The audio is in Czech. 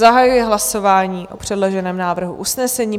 Zahajuji hlasování o předloženém návrhu usnesení.